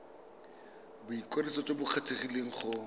boikwadiso jo bo kgethegileng go